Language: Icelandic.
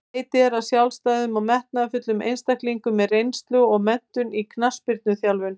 Leitað er að sjálfstæðum og metnaðarfullum einstaklingum með reynslu og menntun í knattspyrnuþjálfun.